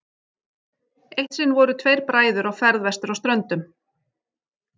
Eitt sinn voru tveir bræður á ferð vestur á Ströndum.